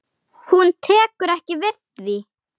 En þá gerðist það.